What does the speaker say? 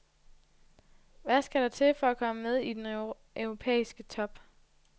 Hvad skal der til for at komme med i den europæiske top?